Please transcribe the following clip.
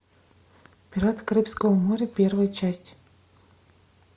пираты карибского моря первая часть